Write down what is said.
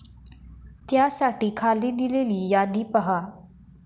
त्यासाठी खाली दिलेली यादी पहा.